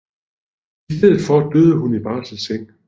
I stedet for døde hun i barselseng